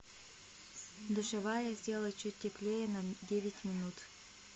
душевая сделай чуть теплее на девять минут